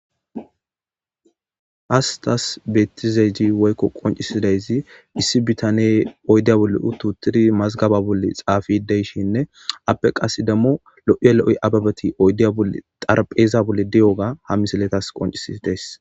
Hastas beettizayi woykko qoncisidayzi issi bitane oydiya bolle utu tiri mazgaba bolle xaafideyshinne appe qas dammo lo7iya lo7oy ababeti odiyaoxarpheeza bolle di7oga hamisiletas qoncisi dees.